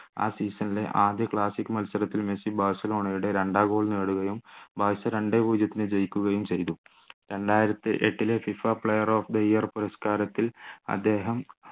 ആ season ലെ ആദ്യ classic മത്സരത്തിൽ മെസ്സി ബാഴ്സലോണയുടെ രണ്ടാം goal നേടുകയും ബാഴ്സ രണ്ടേ പൂജ്യത്തിന് ജയിക്കുകയും ചെയ്തു രണ്ടായിരത്തിയെട്ടി ലെ FIFA player of the year പുരസ്കാരത്തിൽ അദ്ദേഹം